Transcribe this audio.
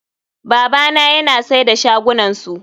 Babana yana sai da shagunansu.